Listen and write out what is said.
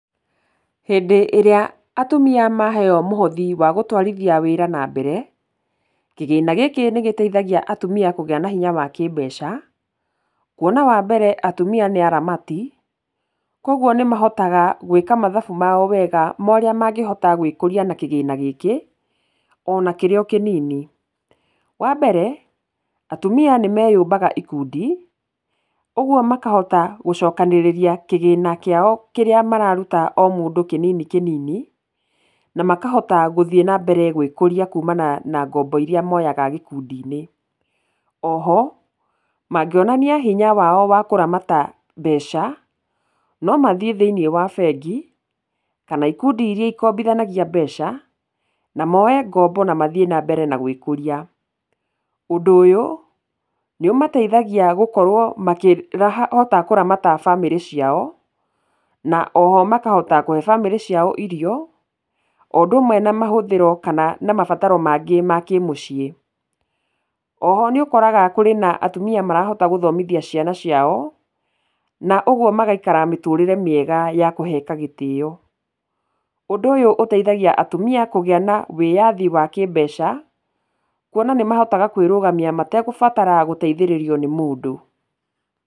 Hĩndĩ ĩrĩa atumia maheyo mũhothi wa gũtwarithia wĩra na-mbere, kĩgĩna gĩkĩ nĩ gĩteithagia atumia kũgĩa na hinya wa kĩ-mbeca, kuona wa mbere atumia nĩ aramati, kwoguo nĩ niahotaga gwĩka mathabu mao wega ma ũria mangĩhota gwĩkũria na kĩgĩna gĩkĩ, ona kĩrĩ o kĩnini. Wa mbere, atumia nĩ meyũbaga ikundi, ũguo makahota gũcokanĩrĩria kĩgĩna kĩao kĩrĩa mararuta o mũndũ kĩnini kĩnini na makahota gũthiĩ na mbere gwĩkũria kuumana na ngombo iria moyaga gĩkundi-inĩ. Oho, mangĩonania hinya wao wa kũramata mbeca, no mathiĩ thĩiniĩ wa bengi kana ikundi iria ikombithanagia mbeca, na moe ngombo na mathiĩ na mbere na gwĩkũria. Ũndũ ũyũ nĩ ũmateithagia gũkorwo makĩrahota kũramata bamĩrĩ ciao, na oho makahota kũhe bamĩrĩ ciao irio, o ũndũ ũmwe na mahũthĩro kana na mabataro mangĩ ma kĩmũcii. Oho nĩ ũkoraga kũrĩ na atumia marahota gũthomithia ciana ciao, na ũguo magaikara mĩtũrĩre mĩega ya kũheka gĩtĩo. Ũndũ ũyũ ũteithagia atumia kũgĩa na wĩyathi wa kĩ-mbeca, kuona nĩ mahotaga kwĩrũgamia mategũbatara gũteithio nĩ mũndũ.